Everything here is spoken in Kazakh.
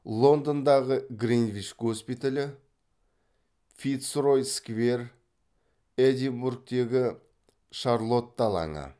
лондондағы гринвич госпиталі фицрой сквер эдинбургтегі шарлотта алаңы